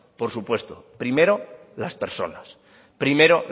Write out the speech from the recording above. por supuesto primero las personas primero